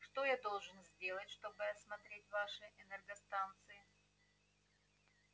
что я должен сделать чтобы осмотреть ваши энергостанции